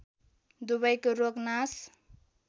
दुवैको रोग नाश